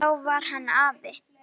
Þá var hann afi.